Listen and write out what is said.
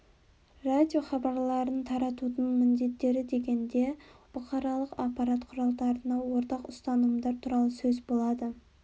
радиохабарларын таратудың міндеттері дегенде бұқаралық ақпарат құралдарына ортақ ұстанымдар туралы сөз болады